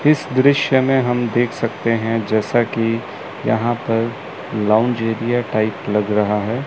इस दृश्य में हम देख सकते हैं जैसा कि यहां पर लॉन्च एरिया टाइप लग रहा है।